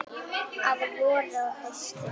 Að vori og hausti.